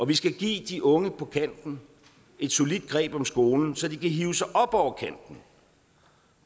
vi skal give de unge på kanten et solidt greb om skolen så de kan hive sig op over kanten